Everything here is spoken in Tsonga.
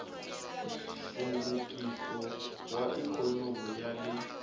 nhluvukiso wa ikhonomi ya le